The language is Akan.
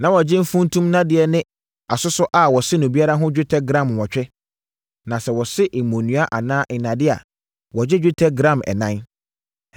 (Na wɔgye funtum nnadeɛ ne asosɔ a wɔse no biara ho dwetɛ gram nwɔtwe, na sɛ wɔse mmonnua anaa nnadeɛ a, wogye dwetɛ gram ɛnan.)